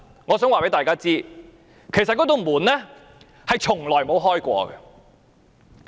我想告訴大家，其實這道門從來未打開過。